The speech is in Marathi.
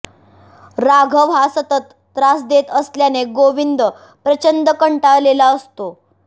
राघव हा सतत त्रास देत असल्याने गोविंद प्रचंड कंटाळलेला असतो